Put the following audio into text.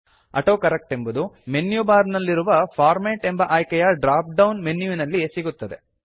autocorrect ಎಂಬುದು menu bar ನಲ್ಲಿರುವ format ಎಂಬ ಆಯ್ಕೆಯ ಡ್ರಾಪ್ ಡೌನ್ ಮೆನ್ಯುವಿನಲ್ಲಿ ಸಿಗುತ್ತದೆ